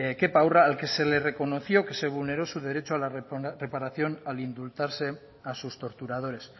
kepa urra al que se le reconoció que se vulneró su derecho a la reparación al indultarse a sus torturadores